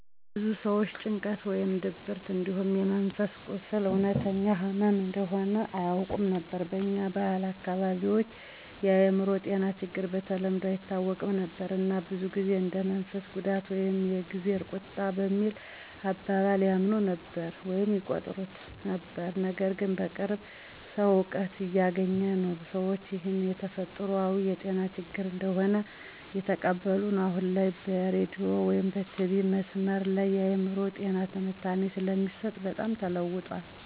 ብዙ ሰዎች ጭንቀት ወይም ድብርት እንዲሁም የመንፈስ ቁስል እውነተኛ ህመም እንደሆነ አያውቁም ነበር። በኛ ባህላዊ አካባቢዎች የአእምሮ ጤና ችግሮች በተለምዶ አይታወቁም ነበር እና ብዙ ጊዜ እንደ የመንፈስ ጉዳት ወይም የ"እግዜር ቁጣ" በሚል አባባል ያምኑ ነበር/ይቆጥሩት ነበር። ነገርግን በቅርቡ ሰዉ እውቀት እያገኘ ነው፣ ሰዎችም ይህን የተፈጥሯዊ የጤና ችግር እንደሆነ እየተቀበሉ ነዉ። አሁን ላይ በሬዲዮ/ቲቪ/መስመር ላይ የአእምሮ ጤና ትንታኔ ስለሚሰጥ በጣም ተለዉጠዋል።